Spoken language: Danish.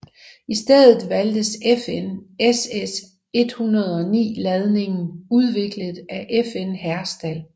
I stedet valgtes FN SS109 ladningen udviklet af FN Herstal